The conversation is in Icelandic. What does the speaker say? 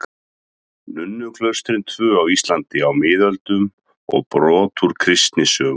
Nunnuklaustrin tvö á Íslandi á miðöldum og brot úr kristnisögu.